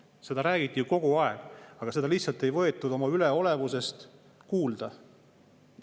Seda räägiti ju kogu aeg, aga seda lihtsalt ei võetud üleolevuse tõttu kuulda.